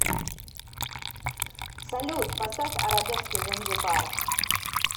салют поставь арабески занзибар